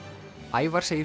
Ævar segir